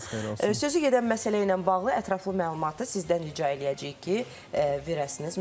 Sözü gedən məsələ ilə bağlı ətraflı məlumatı sizdən rica eləyəcəyik ki, verəsiniz.